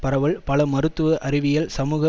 பரவல் பல மருத்துவ அறிவியல் சமூக